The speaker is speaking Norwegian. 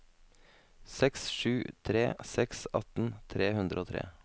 seks sju tre seks atten tre hundre og tre